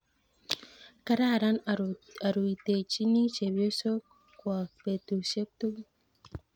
kararan oruitechini chepyosok kwok betusiek tugul